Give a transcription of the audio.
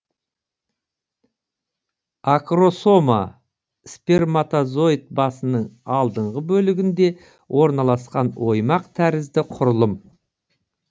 акросома сперматозоид басының алдыңғы бөлігінде орналасқан оймақ тәрізді құрылым